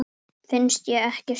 Finnst ég ekkert skilja.